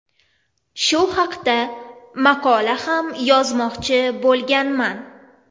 Shu haqda maqola ham yozmoqchi bo‘lganman.